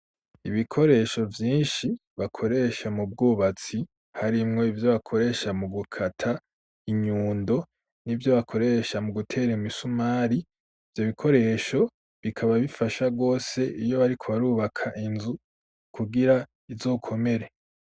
Ibikoresho vyinshi bakoresha mu bwubatsi harimwo ivyo bakoresha mu gukata inyundo n'ibyo bakoresha mu gutera im isumari byo bikoresho bikaba bifasha gose iyo ariko barubaka inzu kugira izokomere.